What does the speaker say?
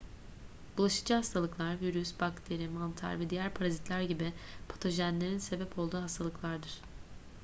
bulaşıcı hastalıklar virüs bakteri mantar veya diğer parazitler gibi patojenlerin sebep olduğu hastalıklardır